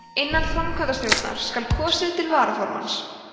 innan framkvæmdarstjórnar skal kosið til varaformanns